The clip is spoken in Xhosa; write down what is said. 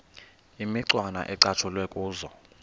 imicwana ecatshulwe kuzo